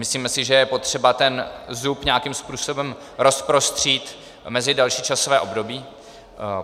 Myslíme si, že je potřeba ten zub nějakým způsobem rozprostřít mezi další časové období.